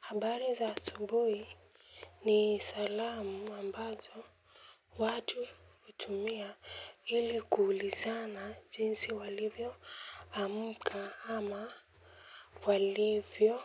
Habari za asubuhi ni salamu ambazo watu hutumia ili kuulizana jinsi walivyo amuka ama walivyo